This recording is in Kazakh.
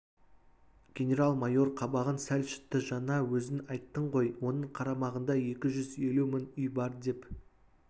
генерал-майор қабағын сәл шытты жаңа өзің айттың ғой оның қарамағында екі жүз елу мың үй бар деп